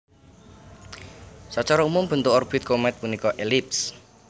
Sacara umum bentuk orbit komèt punika elips